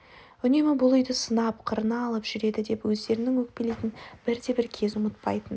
үнемі бұл үйді сынап қырына алып жүреді деп өздерінің өкпелейтінін бірде-бір кез ұмыт-пайтын